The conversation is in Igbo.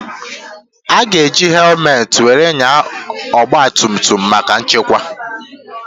A ga eji helumet wéré nyaa ọgba tum tum maka nchekwa